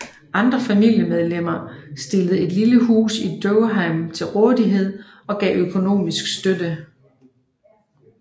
Andre familiemedlemmer stillede et lille hus i Durham til rådighed og gav økonomisk støtte